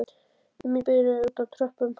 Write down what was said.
um í biðröð úti á tröppum?